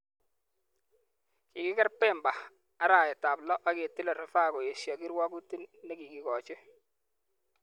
Kikiger Bemba arawetab 6 ak kotilei rufaa koesio kirwoget ne kikigochi.